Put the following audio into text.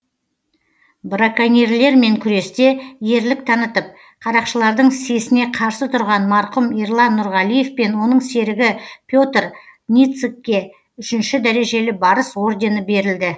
браконьерлермен күресте ерлік танытып қарақшылардың сесіне қарсы тұрған марқұм ерлан нұрғалиев пен оның серігі петр ницыкке үшінші дәрежелі барыс ордені берілді